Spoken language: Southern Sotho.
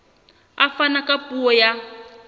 a fana ka puo ya